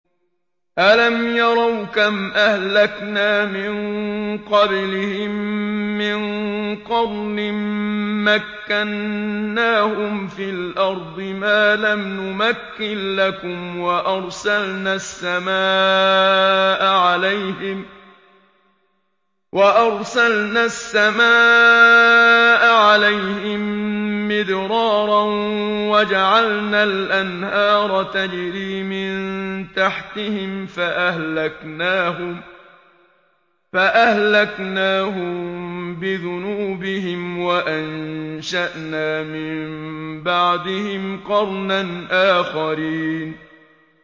أَلَمْ يَرَوْا كَمْ أَهْلَكْنَا مِن قَبْلِهِم مِّن قَرْنٍ مَّكَّنَّاهُمْ فِي الْأَرْضِ مَا لَمْ نُمَكِّن لَّكُمْ وَأَرْسَلْنَا السَّمَاءَ عَلَيْهِم مِّدْرَارًا وَجَعَلْنَا الْأَنْهَارَ تَجْرِي مِن تَحْتِهِمْ فَأَهْلَكْنَاهُم بِذُنُوبِهِمْ وَأَنشَأْنَا مِن بَعْدِهِمْ قَرْنًا آخَرِينَ